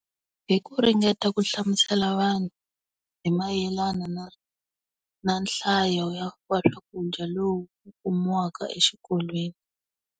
Hi ku ringeta ku hlamusela vanhu, hi mayelana na, na nhlayo ya swakudya lowu kumiwaka exikolweni.